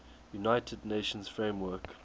united nations framework